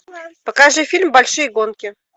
покажи фильм большие гонки